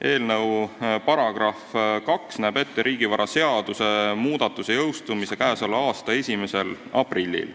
Eelnõu § 2 näeb ette riigivaraseaduse muudatuse jõustumise k.a 1. aprillil.